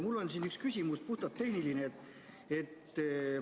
Mul on siin üks puhtalt tehniline küsimus.